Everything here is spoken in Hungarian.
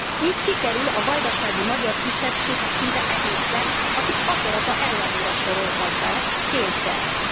Így kikerül a vajdasági magyar kisebbség szinte egésze, akit akarata ellenére soroltak be, kényszerrel.